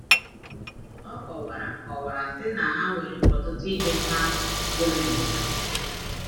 ọ kọwara kọwara sị na ha nwere ọtụtụ ihe ha fúnaghị ha